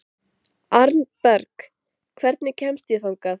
Arnberg, hvernig kemst ég þangað?